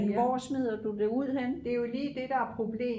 men hvor smider du det ud henne